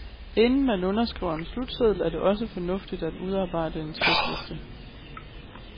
Inden man underskriver en slutseddel, er det også fornuftigt at udarbejde en checkliste.